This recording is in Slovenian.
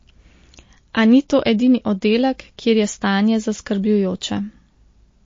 A ni to edini oddelek, kjer je stanje zaskrbljujoče.